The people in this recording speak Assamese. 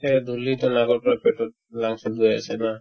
আছে ধূলিতো নাকৰ পৰা গৈ পেটত lungs ত গৈ আছে না